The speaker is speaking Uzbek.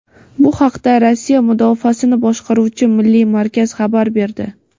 Bu haqda Rossiya Mudofaasini boshqaruvchi milliy markaz xabar berdi.